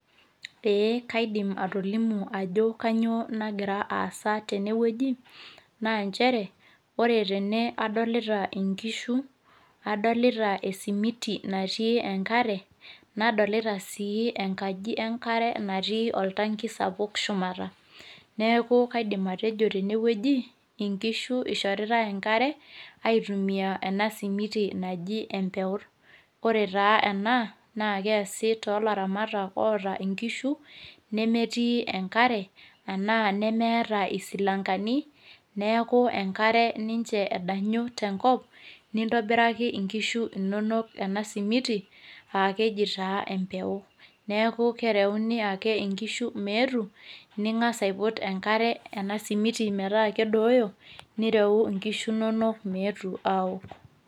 ee kaidim atoliimu ajo kainyioo nagira aasa atene wueji naa nchere, ore tene adolita nkishu, adolita esimiti natii enkare, nadolita sii enkaji enkare natii oltanki sapuk shumata. neku kaidim atejo tene wueji nkishu ishoritae enkare aitumia ena simiti naji empeut. ore taa ena naa keesi toolaramatak oota nkishu nemetii enkare anaa nemeeta isilankani, neeku enkare ninche edanyu tenkop, nintoiraki nkishu nonok ena simiti, aa keji taa emeput, neeku kereuni ake kinshu meetu. ningas aiput enkare metaa kedooyo paa ireu nkishu inonok meetu aaok.